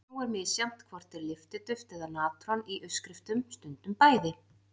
Nú er misjafnt hvort er lyftiduft eða natron í uppskriftum stundum bæði.